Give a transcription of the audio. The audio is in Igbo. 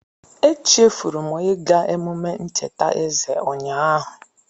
Echefuru m ịga emume ncheta eze ụnyaahụ.